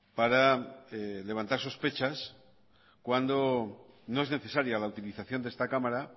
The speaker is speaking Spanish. para levantar sospechas cuando no es necesaria la utilización de esta cámara